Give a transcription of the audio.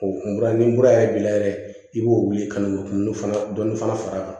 O kun kura ni mura yɛrɛ b'i la yɛrɛ i b'o wuli ka n'o kundɔ fana dɔnni fana far'a kan